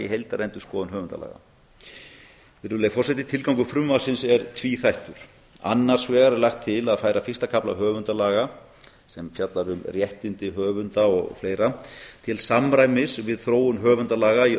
í heildarendurskoðun höfundalaga tilgangur frumvarpsins er tvíþættur annars vegar er lagt til að færa fyrsta kafla höfundalaga sem fjallar um réttindi höfunda og fleira til samræmis við þróun höfundalaga í